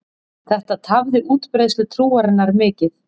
Þetta tafði útbreiðslu trúarinnar mikið.